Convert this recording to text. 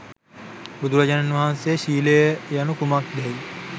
බුදුරජාණන් වහන්සේ ශීලය යනු කුමක්දැ යි